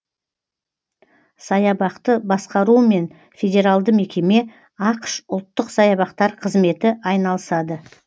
саябақты басқаруымен федералды мекеме ақш ұлттық саябақтар қызметі айналысады